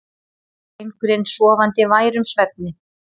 Drengurinn sofandi værum svefni.